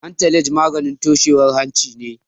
Antalaj maganin toshewar hanci ne.